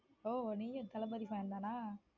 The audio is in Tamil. ஓஹ நீங்களும் தளபதி fan தானா.